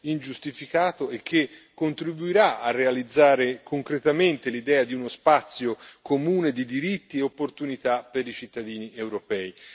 ingiustificato e che contribuirà a realizzare concretamente l'idea di uno spazio comune di diritti e opportunità per i cittadini europei.